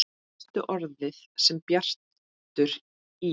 Fyrsta orðið sem Bjartur í